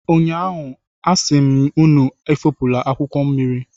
Ụnyaahụ, a sị m unu efopụla akwụkwọ mmiri.